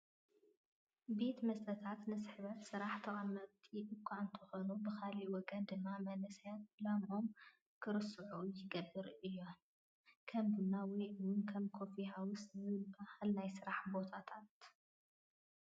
ቤት መስተታት ንስሕበት ስራሕ ተቐምቲ እኳ እንተኾኑ ብኻሊእ ወገን ድማ መናእሰይ ዕላመኦም ክርስዑ ይገብራ እየን፡፡ ከም ቡና ወይ እውን ኮፊ ሃውስ ዝባላ ናይ ስራሕ ቦታታት፡፡